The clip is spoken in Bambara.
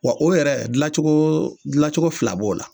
o yɛrɛ dilancogo dilancogo fila b'o la